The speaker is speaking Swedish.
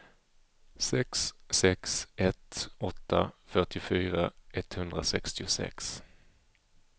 sex sex ett åtta fyrtiofyra etthundrasextiosex